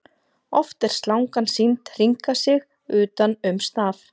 Oft er slangan sýnd hringa sig utan um staf.